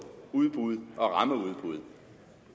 udbud og rammeudbud